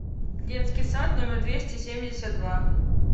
детский сад номер двести семьдесят два